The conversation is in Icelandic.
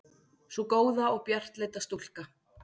Sú góða og bjartleita stúlka.